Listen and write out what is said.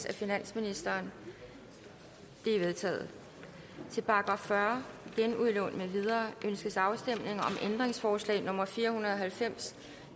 af finansministeren de er vedtaget til § fyrre genudlån med videre ønskes afstemning om ændringsforslag nummer fire hundrede og halvfems